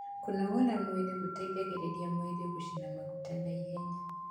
kũnogora mwĩrĩ gũteithagia mwĩrĩ gucina maguta naihenya